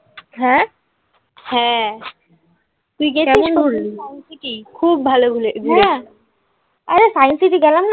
হ্যাঁ? হ্যাঁ তুই গেছিস science city খুব ভালো আরে science city গেলাম না